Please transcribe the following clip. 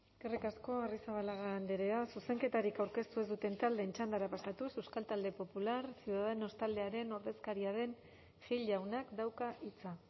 eskerrik asko arrizabalaga andrea zuzenketarik aurkeztu ez duten taldeen txandara pasatuz euskal talde popular ciudadanos taldearen ordezkaria den gil jaunak dauka hitza